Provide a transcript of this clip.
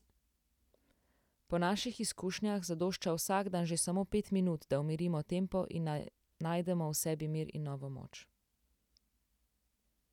Po naših izkušnjah zadošča vsak dan že samo pet minut, da umirimo tempo in najdemo v sebi mir in novo moč.